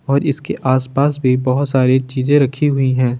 और इसके आसपास भी बहोत सारी चीजे रखी हुई है।